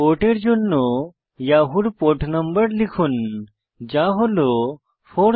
পোর্টের জন্য ইয়াহুর পোর্ট নম্বর লিখুন যা হল 465